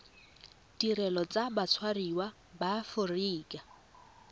ditirelo tsa batshwariwa ba aforika